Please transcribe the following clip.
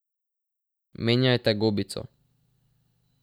Menjajte gobico.